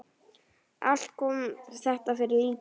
Allt kom þetta fyrir lítið.